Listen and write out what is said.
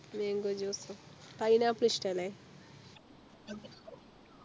Mango juice pineapple ഇഷ്ട്ടല്ലേ